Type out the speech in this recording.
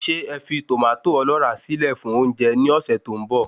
Ṣé ẹ fi tòmátò ọlọ́ra síle fún oúnjẹ ni ọsẹ tó ń bọ̀